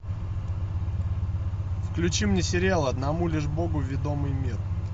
включи мне сериал одному лишь богу ведомый мир